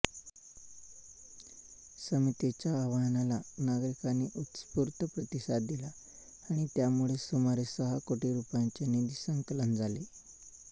समितीच्या आवाहनाला नागरिकांनी उत्स्फूर्त प्रतिसाद दिला आणि त्यामुळेच सुमारे सहा कोटी रुपयांचे निधीसंकलन झाले